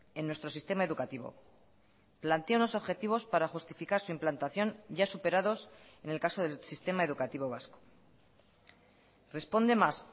en nuestro sistema educativo plantea unos objetivos para justificar su implantación ya superados en el caso del sistema educativo vasco responde más